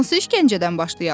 Hansı işgəncədən başlayaq?